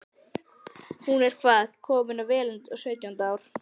Hún er hvað. komin vel á sautjánda ár?